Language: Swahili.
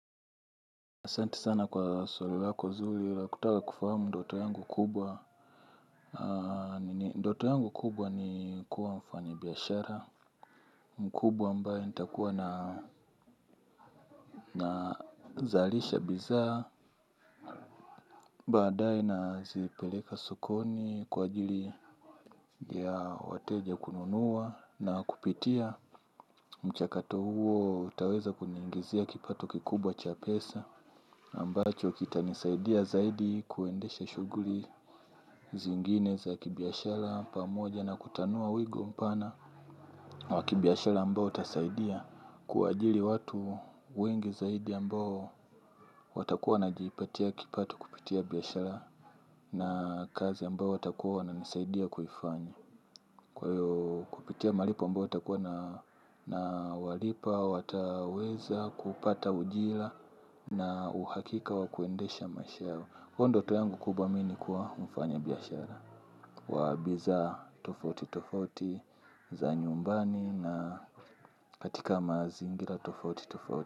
Santi sana kwa swali lako zuli la kutata kufahamu ndoto yangu kubwa. Ndoto yangu kubwa ni kuwa mfanyi biyashara mkubwa ambae nitakuwa nazalisha bizaa. Baadae nazipeleka sokoni kwa ajili ya wateja kununua. Na kupitia mchakato huo taweza kuniingizia kipato kikubwa cha pesa ambacho kitanisaidia zaidi kuendesha shuguli zingine za kibiyashala pamoja na kutanua wigo mpana wa kibiashala ambao utasaidia kuwajili watu wengi zaidi ambao watakuwa wanajiipatia kipato kupitia biashala na kazi ambao watakuwa wananisaidia kuifanya kwa hiyo kupitia malipo ambao ntakuwa na walipa, wataweza kupata ujila na uhakika wa kuendesha maisha yao. Kwa huo ndoto yangu kubwa mimi ni kuwa mfanya biashara wa bizaa tofauti tofauti za nyumbani na katika mazingira tofauti tofauti.